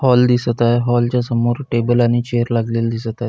Hall दिसत आहे. Hall च्या समोर टेबल आणि चेअर लागलेली दिसता आहे.